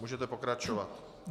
Můžete pokračovat.